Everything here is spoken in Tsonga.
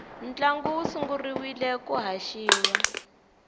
ntlangu wu sungurile ku haxiwa